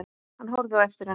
Hann horfði á eftir henni.